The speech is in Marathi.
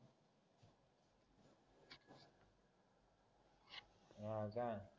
हा का